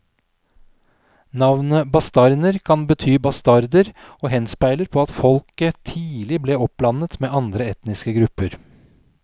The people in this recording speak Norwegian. Navnet bastarner kan bety bastarder og henspeiler på at folket tidlig ble oppblandet med andre etniske grupper.